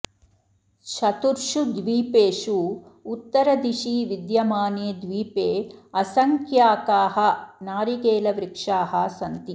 चतुर्षु द्वीपेषु उत्तरदिशि विद्यमाने द्वीपे असङ्ख्याकाः नारिकेलवृक्षाः सन्ति